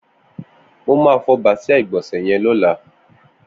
Mó mà fọ bàsiá igbònsẹ̀ yèn lọ̀lá